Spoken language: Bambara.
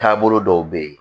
Taabolo dɔw bɛ ye